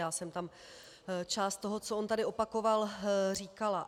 Já jsem tam část toho, co on tady opakoval, říkala.